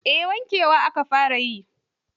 Eh, wankewa aka fara yi.